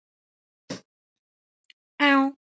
Kannski ekki síst þá.